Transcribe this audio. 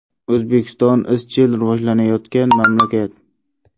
O‘zbekiston izchil rivojlanayotgan mamlakat.